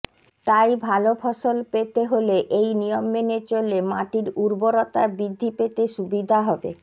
তাই ভালো ফসল পেতে হলে এই নিয়ম মেনে চললে মাটির উর্বরতা বৃদ্ধি পেতে সুবিধা হবে